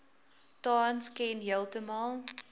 tans ken heeltemal